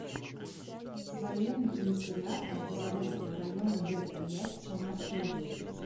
военный комиссариат автозаводского района г тольятти самарской области